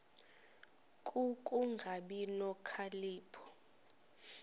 ku kungabi nokhalipho